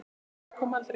En svarið kom aldrei.